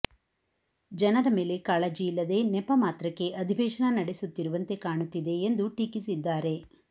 ಜನರ ಮೇಲೆ ಕಾಳಜಿ ಇಲ್ಲದೆ ನೆಪ ಮಾತ್ರಕ್ಕೆ ಅಧಿವೇಶನ ನಡೆಸುತ್ತಿರುವಂತೆ ಕಾಣುತ್ತಿದೆ ಎಂದು ಟೀಕಿಸಿದ್ದಾರೆ